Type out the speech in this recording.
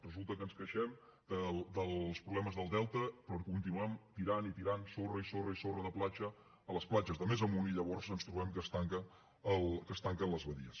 resulta que ens queixem dels problemes del delta però continuem tirant i tirant sorra i sorra i sorra de platja a les platges de més amunt i llavors ens trobem que es tanquen les badies